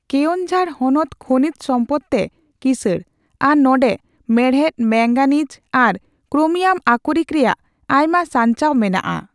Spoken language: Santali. ᱠᱮᱣᱚᱱᱡᱷᱟᱲ ᱦᱚᱱᱚᱛ ᱠᱷᱚᱱᱤᱡᱽ ᱥᱚᱢᱯᱚᱫᱽ ᱛᱮ ᱠᱤᱥᱟᱺᱲ ᱟᱨ ᱱᱚᱸᱰᱮ ᱢᱮᱬᱦᱮᱫ, ᱢᱮᱝᱜᱟᱱᱤᱡᱽ ᱟᱨ ᱠᱨᱳᱢᱤᱭᱟᱢ ᱟᱠᱚᱨᱤᱠ ᱨᱮᱭᱟᱜ ᱟᱭᱢᱟ ᱥᱟᱧᱪᱟᱣ ᱢᱮᱱᱟᱜᱼᱟ ᱾